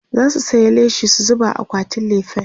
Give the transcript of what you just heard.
zasu saya leshi su zuba a akwatin lefen